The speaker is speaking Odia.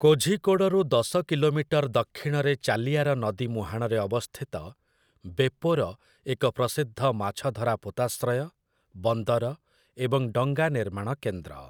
କୋଝିକୋଡ଼ରୁ ଦଶ କିଲୋମିଟର ଦକ୍ଷିଣରେ ଚାଲିୟାର ନଦୀ ମୁହାଣରେ ଅବସ୍ଥିତ ବେପୋର ଏକ ପ୍ରସିଦ୍ଧ ମାଛଧରା ପୋତାଶ୍ରୟ, ବନ୍ଦର, ଏବଂ ଡଙ୍ଗା ନିର୍ମାଣ କେନ୍ଦ୍ର ।